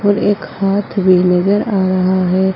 एक हाथ भी नजर आ रहा है।